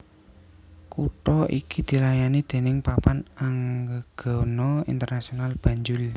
Kutha iki dilayani déning Papan Anggegana Internasional Banjul